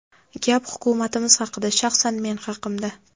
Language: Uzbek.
Gap Hukumatimiz haqida, shaxsan men haqimda.